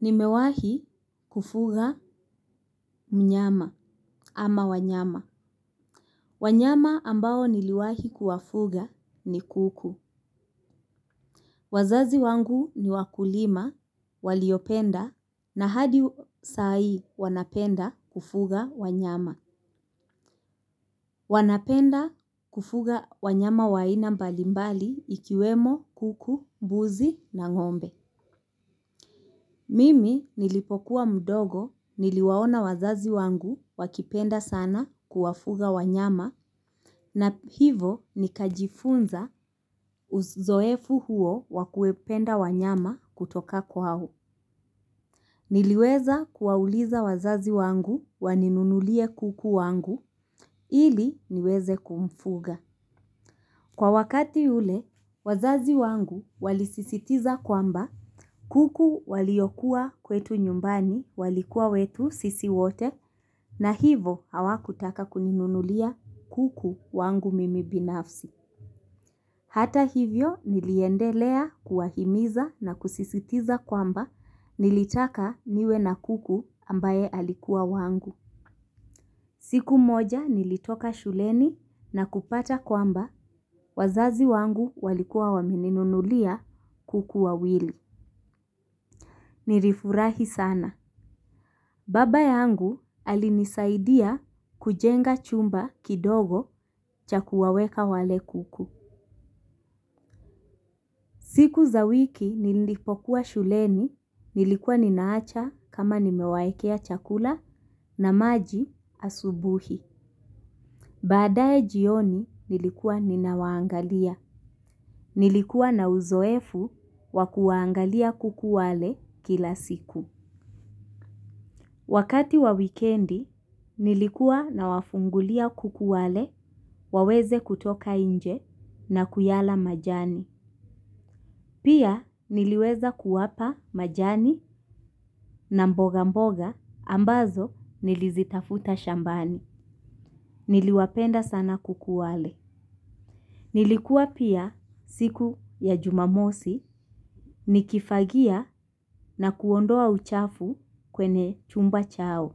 Nimewahi kufuga mnyama ama wanyama. Wanyama ambao niliwahi kuwafuga ni kuku. Wazazi wangu ni wakulima, waliopenda na hadi saa hii wanapenda kufuga wanyama. Wanapenda kufuga wanyama wa aina mbalimbali ikiwemo, kuku, mbuzi na ng'ombe. Mimi nilipokuwa mdogo niliwaona wazazi wangu wakipenda sana kuwafuga wanyama na hivo nikajifunza uzoefu huo wa kupenda wanyama kutoka kwao. Niliweza kuwauliza wazazi wangu waninunulie kuku wangu ili niweze kumfuga. Kwa wakati ule, wazazi wangu walisisitiza kwamba kuku waliokuwa kwetu nyumbani walikuwa wetu sisi wote na hivo hawakutaka kuninunulia kuku wangu mimi binafsi. Hata hivyo niliendelea kuwahimiza na kusisitiza kwamba nilitaka niwe na kuku ambaye alikuwa wangu. Siku moja nilitoka shuleni na kupata kwamba wazazi wangu walikuwa wameninunulia kuku wawili. Nirifurahi sana. Baba yangu alinisaidia kujenga chumba kidogo cha kuwaweka wale kuku. Siku za wiki nilipokuwa shuleni nilikuwa ninaacha kama nimewaekea chakula na maji asubuhi. Baadaye jioni nilikuwa ninawaangalia. Nilikuwa na uzoefu wa kuwaangalia kuku wale kila siku. Wakati wa wikendi nilikuwa nawafungulia kuku wale waweze kutoka inje na kuyala majani. Pia niliweza kuwapa majani na mboga mboga ambazo nilizitafuta shambani. Niliwapenda sana kuku wale. Nilikuwa pia siku ya jumamosi, nikifagia na kuondoa uchafu kwenye chumba chao.